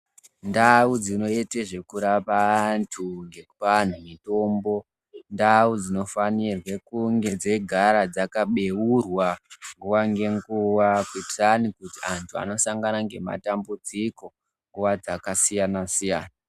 Ndau dzinoite zvekurapa antu nekupa antu mitombo indau dzinofanirwe kunge dzeigara dzakabeurwa nguwa ngenguwa kuitira amweni antu anosanga nematambidziko nguwa dzakasiyana siyana.